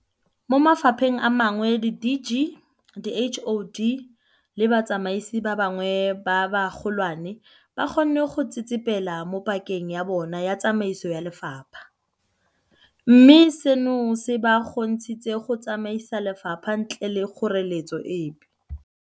Mo mafapheng a mangwe di-DG, di-HoD le batsamaisi ba bangwe ba bagolwane ba kgonne go tsetsepela mo pakeng ya bona ya tsamaiso ya lefapha, mme seno se ba kgontshitse go tsamaisa lefapha ntle le kgoreletso epe.